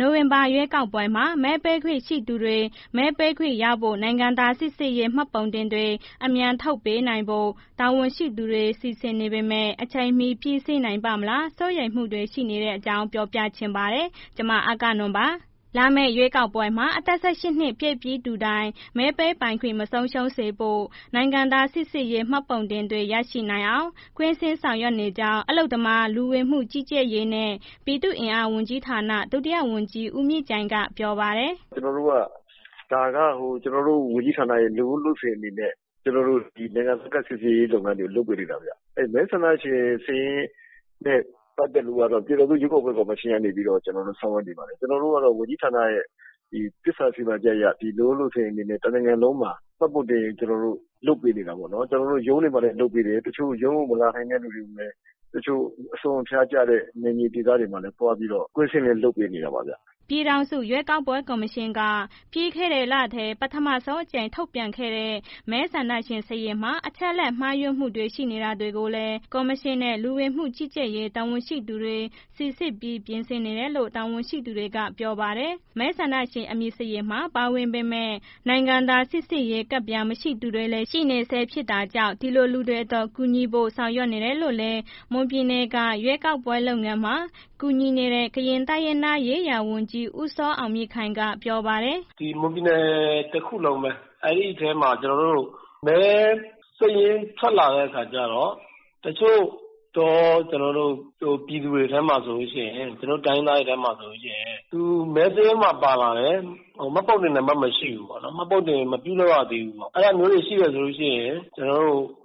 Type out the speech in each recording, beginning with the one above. နိုဝင်ဘာလ ရွေးကောက်ပွဲမှာ မဲပေးခွင့်ရှိသူတွေ မဲပေးခွင့်ရဖို့ နိုင်ငံသားစိစစ်ရေး မှတ်ပုံတင်တွေ အမြန်ထုတ်ပေးနိုင်ဖို့ တာဝန်ရှိသူတွေ စီစဉ်နေပေမဲ့ အချိန်မီ ပြီးစီးနိုင်ပါ့မလား စိုးရိမ်မှုတွေ ရှိနေတဲ့အကြောင်း ပြောပြချင်ပါတယ်။ ဗွီအိုအေမြန်မာပိုင်းသတင်းထောက် အဂ္ဂနွန် တင်ပြပေးထားပါတယ်။ လာမယ့် ရွေးကောက်ပွဲမှာ အသက် ၁၈ နှစ်ပြည့်ပြီး သူတိုင်း မဲပေးပိုင်ခွင့် မဆုံးရှုံးစေဖို့ နိုင်ငံသားစိစစ်ရေး မှတ်ပုံတင်တွေ ရနိုင်အောင် ကွင်းဆင်းဆောင်ရွက်နေကြောင်း အလုပ်သမား၊ လူဝင်မှုကြီးကြပ်ရေးနှင့် ပြည်သူ့အင်အားဝန်ကြီးဌာန ဒုတိယဝန်ကြီး ဦးမြင့်ကြိုင် ကပြောပါတယ်။ “ကျွန်တော်တို့က ဒါက ကျွန်တော်တို့ဝန်ကြီးဌာနက လုပ်ရိုးလုပ်စဉ်အနေနဲ့ကျွန်တော်တို့ နိုင်ငံသားစိစစ်ရေးလုပ်ငန်းတွေ လုပ်ပေးနေတာဗျ၊ မဲဆန္ဒရှင်စာရင်းနဲ့ ပတ်သက်လို့ကတော့ ပြန်ထောင်စုရွေးကောက်ပွဲကော်မရှင်ကနေပြီးတော့ ကျွန်တော်တို့ ဆောင်ရွက်နေပါတယ်၊ ကျွန်တော်တို့ကတော့ ဝန်ကြီးဌာနရဲ့ သစ္စာစီမံချက်အရ လုပ်ရိုးလုပ်စဉ်အနေနဲ့ တစ်နိုင်ငံလုံးမှာ မှတ်တင်ပုံ ကျွန်တော်တို့ လုပ်ပေးနေတာပေါ့နော် ။ ရုံးမှာလည်းလုပ်ပေးတယ်၊ တစ်ချို့ ရုံးကိုမလာနိုင်တဲ့လူတွေ တစ်ချို့ အစွန်းအဖျားကျတဲ့ နယ်မြေဒေသတွေမှာ သွားပြီးတော့ ကွင်းဆင်းပြီးလုပ်ပေးနေတာပေါ့ဗျ။’’ ပြည်ထောင်စု ရွေးကောက်ပွဲ ကော်မရှင်က ပြီးခဲ့တဲ့လထဲ ပထမဆုံးအကြိမ် ထုတ်ပြန်ခဲ့တဲ့ မဲဆန္ဒရှင် စာရင်းမှာ အချက်အလက် မှားယွင်းမှုတွေ ရှိနေတာတွေကိုလည်း ကော်မရှင်နဲ့ လူဝင်မှုကြီးကြပ်ရေး တာဝန်ရှိသူတွေ စိစစ်ပြီး ပြင်ဆင်နေတယ်လို့ တာဝန်ရှိတွေက ပြောပါတယ်။ မဲဆန္ဒရှင် အမည်စာရင်းမှာ ပါဝင်ပေမဲ့ နိုင်ငံသားစိစစ်ရေးကဒ်ပြား မရှိသူတွေလည်း ရှိနေဆဲ ဖြစ်တာကြောင့် ဒီလိုလူတွေအတွက် ကူညီဖို့ စီစဉ်နေတယ်လို့လည်း မွန်ပြည်နယ်က ရွေးကောက်ပွဲ လုပ်ငန်းတွေမှာ ကူညီနေတဲ့ ကရင်တိုင်းရင်းသားရေးရာဝန်ကြီး ဦးစောအောင်မြင့်ခိုင်က ပြောတယ်။ “ဒီမွန်ပြည်နယ်တစ်ခုလုံးပဲ အဲ့ဒီထဲမှာ မဲစာရင်းထွက်လာတဲ့အခါကျတော့ တစ်ချို့ ပြည်သူတွေထဲမှာဆိုလို့ရှိရင် ကျွန်တော်တိုင်းရင်းသားတွေထဲမှာဆိုလို့ရှိရင် မဲစာရင်းထဲမှာ ပါလာတယ်။ မှတ်ပုံတင် နံပါတ်မရှိဘူးပေါ့ မှတ်ပုံတင်မပြုလုပ်ရသေးဘူးပေါ့အဲ့လိုမျိုးတွေရှိတယ်ဆိုလို့ရှိရင်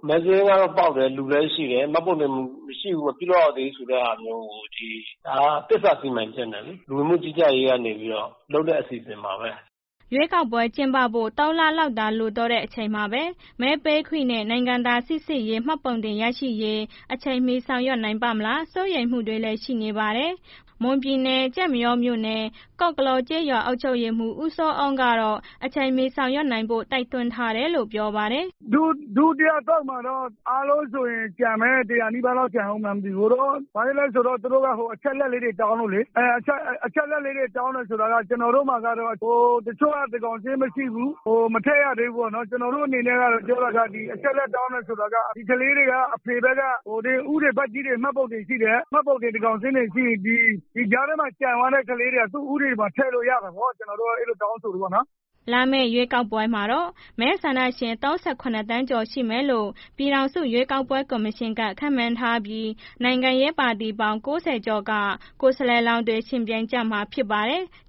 မဲစာရင်းလည်းပေါက်တယ် လူလည်းရှိတယ်မှတ်ပုံတင်မရှိဘူးပေါ့ ဒါက သစ္စာစီမံချက်နဲ့လေး သစ္စာစီမံချက်နဲ့ လူဝင်မှုကြီးကြပ်ရေးကနေပြီးတော့ လုပ်တဲ့အစီအစဉ်ပါဘဲ။” ရွေးကောက်ပွဲ ကျင်းပဖို့ ၃ လလောက်သာ ကျန်တော့တဲ့ အချိန်မှာပဲ မဲပေးခွင့်နဲ့ နိုင်ငံသားစိစစ်ရေး မှတ်ပုံတင် ရရှိရေး အချိန်မီ ဆောင်ရွက်နိုင်ပါ့မလား စိုးရိမ်မှုတွေလည်း ရှိနေပါတယ်။ မွန်ပြည်နယ် ကျိုက်မရောမြို့နယ် ကော့ကလော့ကျေးရွာ အုပ်ချုပ်ရေးမှုး ဦးစောအုံးကတော့ အချိန်မီဆောင်ရွက်နိုင်ဖို့ တိုက်တွန်းထားတယ်လို့ ပြောပါတယ်။ “ဒုတိယ အသုတ်မှာတော့ အားလုံးဆိုရင် ကျန်မယ် ၁၀၀ နီးပါးလောက်ကျန်အုန်းမလားတော့မသိဘူး ဘာလဲဆိုတော့ သူတို့က အချက်အလက်လေးတွေ တောင်းလို့လေ အချက်အလက်တောင်း တယ်ဆိုတာ ကျနော်တို့မှာကတော့ တစ်ချို့က သန်းခေါင်းစာရင်းမရှိဘူး။ မထည့်ရသေးဘူးပေါ့နော် ကျနော်တို့ အနေနဲ့က ပြောရရင် ဒီအချက်အလက် တောင်းတယ်ဆိုတာက အဖေဘက်က ဦးတွေ ဘကြီးတွေမှာ မှတ်ပုံတင်ရှိတယ် သန်းခေါင်းစာရင်းတွေရှိတယ် ဒီကြားထဲမှာ ကျန်သွားတဲ့ကလေးတွေက သူ့ဥပဒေထဲမှာ ထည့်လို့ရတာပေါ့ ကျနော်တို့တ က အဲ့လိုတောင်းဆိုတယ်ပေါ့နော်” လာမယ့် ရွေးကောက်ပွဲမှာတော့ မဲဆန္ဒရှင် ၃၇ သန်းကျော် ရှိမယ်လို့ ပြည်ထောင်စု ရွေးကောက်ပွဲ ကော်မရှင်က ခန့်မှန်းထားပြီး နိုင်ငံရေးပါတီပေါင်း ၉၀ ကျော်က ကိုယ်စားလှယ်တွေ ယှဉ်ပြိုင်ကျမှာ ဖြစ်ပါတယ်။